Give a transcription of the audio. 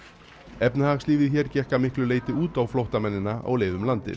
efnahagslífið hér gekk að miklu leyti út á flóttamennina á leið um landið